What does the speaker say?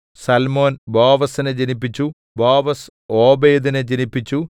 സല്മോൻ ബോവസിനെ ജനിപ്പിച്ചു ബോവസ് ഓബേദിനെ ജനിപ്പിച്ചു